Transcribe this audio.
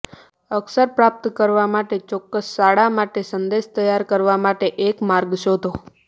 અક્ષર પ્રાપ્ત કરવા માટે ચોક્કસ શાળા માટે સંદેશ તૈયાર કરવા માટે એક માર્ગ શોધો